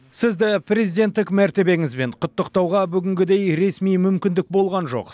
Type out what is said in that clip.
сізді президенттік мәртебеңізбен құттықтауға бүгінгідей ресми мүмкіндік болған жоқ